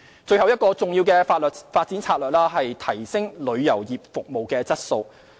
最後一個重要的發展策略是提升旅遊業服務質素。